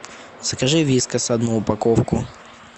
закажи вискас одну упаковку